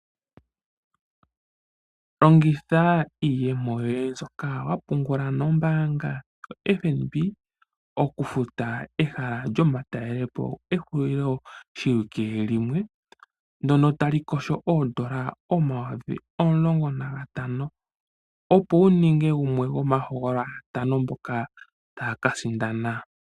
Longitha iiyemo yoye mbyoka wapungula nombaanga yo Fnb oku futa ehala lyomatalelepo ehulilo shiwike limwe, ndono ta li kotha oondola omayovi omulongo na gatano, opo wu ninge gumwe gwomaahogololwa ya tano mboka ta ya ka sindana.